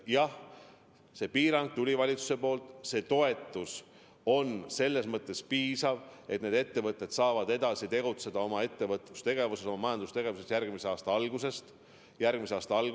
Jah, see piirang tuli valitsuse poolt, aga see toetus on selles mõttes piisav, et need ettevõtted saavad edasi tegutseda, jätkata majandustegevust ka järgmisel aastal.